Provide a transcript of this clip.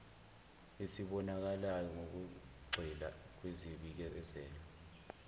esibonakalayo ngokugxila kwizibikezelo